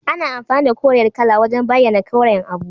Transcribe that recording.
Ana amfani da koriyar kala wajan bayana koren abu